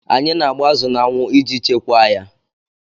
Anyị na agba azụ n'anwụ iji Chekwaa ya